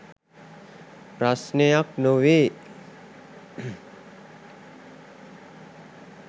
ප්‍රස්නයක් නොවේ .